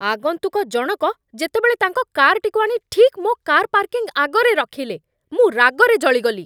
ଆଗନ୍ତୁକ ଜଣକ ଯେତେବେଳେ ତାଙ୍କ କାର୍‌ଟିକୁ ଆଣି ଠିକ୍ ମୋ କାର୍ ପାର୍କିଂ ଆଗରେ ରଖିଲେ, ମୁଁ ରାଗରେ ଜଳିଗଲି ।